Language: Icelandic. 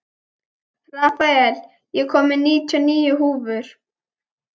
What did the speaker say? Rafael, ég kom með níutíu og níu húfur!